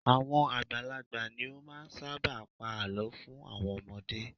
Àwọn àgbàlagbà ni ó ṣábà máà ń pa àlọ́ fún àwọn ọmọdé.